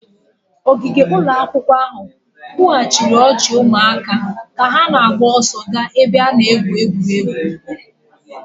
Ogige ụlọ akwụkwọ ahụ kwughachiri ọchị ụmụaka ka ha na-agba ọsọ gaa n'ebe a na-egwu egwuregwu